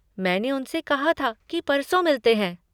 मैंने उनसे कहाँ था की परसों मिलते हैं।